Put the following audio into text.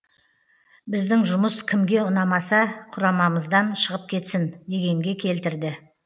біздің жұмыс кімге ұнамаса құрамымыздан шығып кетсін дегенге келтірді